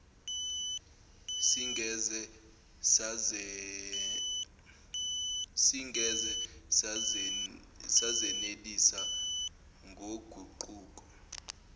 singeze sazenelisa ngoguquko